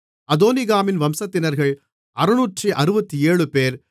அதோனிகாமின் வம்சத்தினர்கள் 667 பேர்